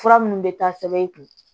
Fura minnu bɛ taa sɛbɛn i kun